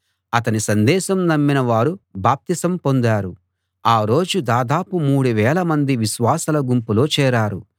అతని సందేశం నమ్మిన వారు బాప్తిసం పొందారు ఆ రోజు దాదాపు మూడువేల మంది విశ్వాసుల గుంపులో చేరారు